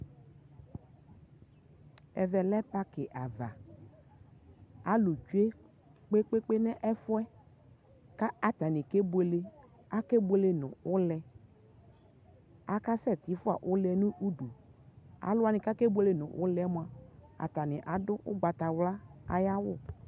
Ɛvɛ lɛ paki ava, Alu tsue kpekpe nɛ ɛfuɛ ka atane ke bueleAke buele no ulɛ Aka sɛ tefua ulɛ no uduAlu wane kake buele no ulɛ moa atane ado ugbatawla ayawu